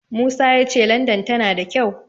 Musa ya ce Landan tana da kyau.